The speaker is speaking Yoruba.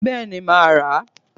béeni, ma a ra